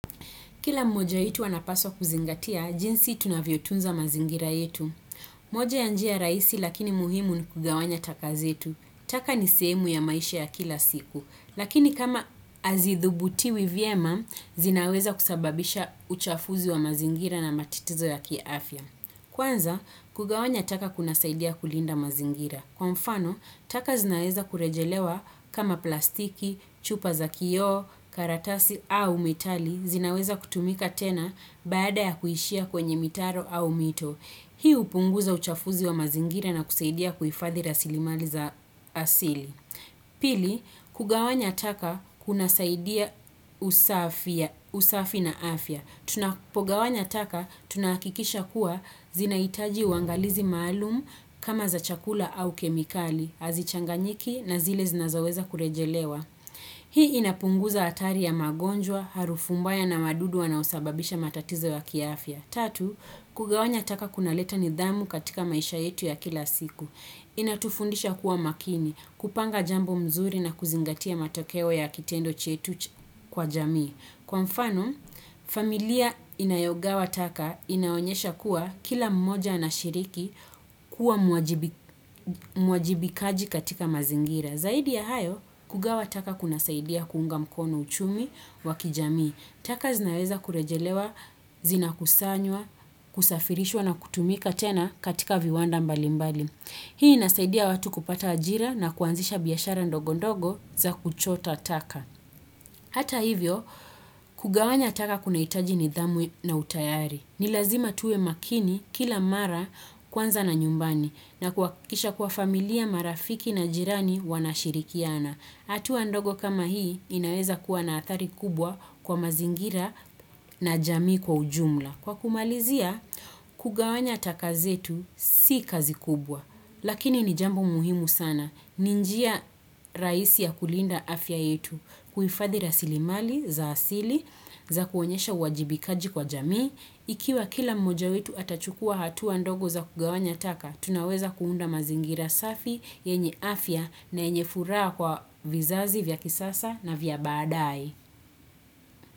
Kila moja wetu anapaswa kuzingatia, jinsi tunavyotunza mazingira yetu. Moja ya njia rahisi lakini muhimu ni kugawanya taka zetu. Taka ni sehemu ya maisha ya kila siku. Lakini kama hazithubutiwi vyema, zinaweza kusababisha uchafuzi wa mazingira na matatizo ya kiafya. Kwanza, kugawanya taka kunasaidia kulinda mazingira. Kwa mfano, taka zinaweza kurejelewa kama plastiki, chupa za kioo, karatasi au metali. Zinaweza kutumika tena baada ya kuishia kwenye mitaro au mito. Hii hupunguza uchafuzi wa mazingira na kusaidia kuhifadhi rasilimali za asili. Pili, kugawanya taka kunasaidia usafi na afya. Tunapogawanya taka tunahakikisha kuwa zinahitaji uangalizi maalum kama za chakula au kemikali, hazichanganyiki na zile zinazoweza kurejelewa. Hii inapunguza hatari ya magonjwa, harufu mbaya na madudu wanaosababisha matatizo ya kiafya. Tatu, kugawanya taka kunaleta nidhamu katika maisha yetu ya kila siku. Inatufundisha kuwa makini, kupanga jambo mzuri na kuzingatia matokeo ya kitendo chetu kwa jamii. Kwa mfano, familia inayogawa taka inaonyesha kuwa kila mmoja anashiriki kuwa mwajibikaji katika mazingira. Zaidi ya hayo, kugawa taka kunasaidia kuunga mkono uchumi wa kijamii. Taka zinaweza kurejelewa, zinakusanywa, kusafirishwa na kutumika tena katika viwanda mbali mbali. Hii inasaidia watu kupata ajira na kuanzisha biashara ndogo ndogo za kuchota taka. Hata hivyo, kugawanya taka kunahitaji nidhamu na utayari. Ni lazima tuwe makini kila mara kwanza na nyumbani na kuhakikisha kuwa familia marafiki na jirani wanashirikiana. Hatua ndogo kama hii inaweza kuwa na athari kubwa kwa mazingira na jamii kwa ujumla. Kwa kumalizia, kugawanya taka zetu si kazi kubwa. Lakini ni jambo muhimu sana. Ni njia rahisi ya kulinda afya yetu kuhifadhi rasilimali za asili za kuonyesha uwajibikaji kwa jamii. Ikiwa kila mmoja wetu atachukua hatua ndogo za kugawanya taka, tunaweza kuunda mazingira safi yenye afya na yenye furaha kwa vizazi vya kisasa na vya baadaye.